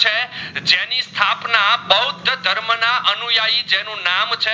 ના અનુયાઈ જેનું નામ છે